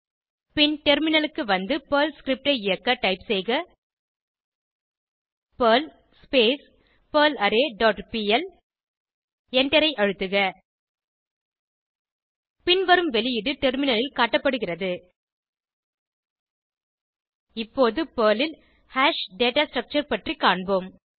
பின் டெர்மினலுக்கு வந்து Perl script ஐ இயக்க டைப் செய்க பெர்ல் பெர்லாரே டாட் பிஎல் எண்டரை அழுத்துக பின்வரும் வெளியீடு டெர்மினலில் காட்டப்படுகிறது இப்போது பெர்ல் ல் ஹாஷ் டேட்டா ஸ்ட்ரக்சர் பற்றி காண்போம்